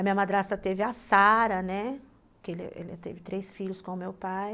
A minha madrasta teve a Sara, né, que ela ela teve três filhos com o meu pai.